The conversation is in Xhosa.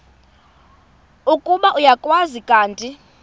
ukuba uyakwazi kanti